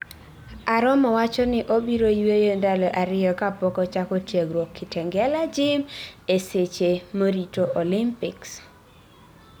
Aromo wachoni obiro yueyo ndalo ariyo kapok ochako tiegruok Kitengela Gym ee seche morito Olympics